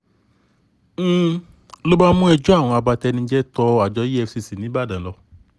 n ló bá mú ẹjọ́ àwọn abatenijẹ́ tó àjọ efcc nìbàdàn lọ